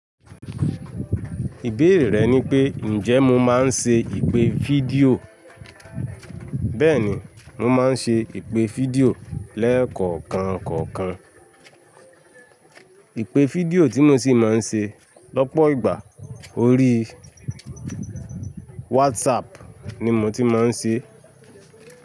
Ìbéèrè rẹ ní pé, ǹjẹ́ mo máa ń ṣe ìpè fídíò? Bẹ́ẹ̀ ni, mo máa ń ṣe ìpè fídíò lẹ́ẹ̀kọ̀ọ̀kan kọ̀ọ̀kan. Ìpè fídíò tí mo sì máa ń ṣe lọ́pọ̀ ìgbà orí WhatsApp ni mo ti máa ń ṣe.